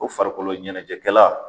O farikoloɲɛnɛjɛkɛla